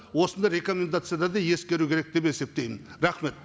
осындай рекомендацияда да ескеру керек деп есептеймін рахмет